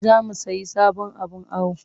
Za mu sayi sabon abin awo